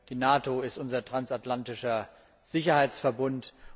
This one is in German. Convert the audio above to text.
Die NATO ist unser transatlantischer Sicherheitsverbund.